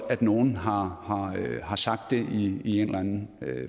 at nogen har har sagt det i en eller anden